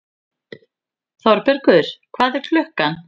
Þorbergur, hvað er klukkan?